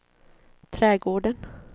trädgården